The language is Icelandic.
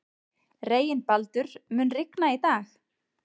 Reginbaldur, mun rigna í dag?